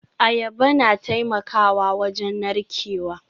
Ayaba na taimakawa wajen narkewa